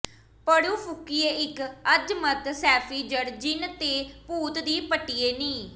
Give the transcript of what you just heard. ਪੜ੍ਹ ਫੂਕੀਏ ਇੱਕ ਅਜ਼ਮਤ ਸੈਫੀ ਜੜ ਜਿੰਨ ਤੇ ਭੂਤ ਦੀ ਪੱਟੀਏ ਨੀ